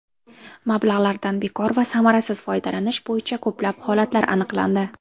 Mablag‘lardan bekor va samarasiz foydalanish bo‘yicha ko‘plab holatlar aniqlandi.